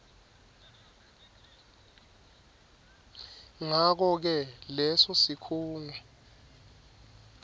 ngakoke leso sikhungo